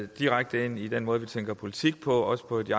direkte ind i den måde vi tænker politik på og at vi